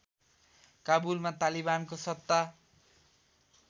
काबुलमा तालिबानको सत्ता